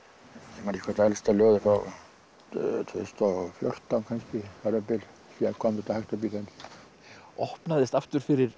ég man ekki hvort elsta ljóðið er frá tvö þúsund og fjórtán kannski þar um bil síðan kom þetta hægt og bítandi opnaðist aftur fyrir